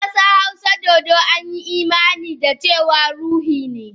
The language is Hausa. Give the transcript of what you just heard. A kasar hausa, dodo an yi imani da cewa ruhu ne.